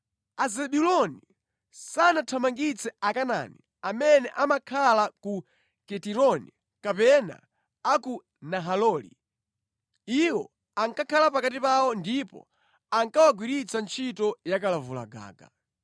Azebuloni sanathamangitse Akanaani amene amakhala mu Kitironi kapena a ku Nahaloli. Iwo ankakhala pakati pawo ndipo ankawagwiritsa ntchito yakalavulagaga.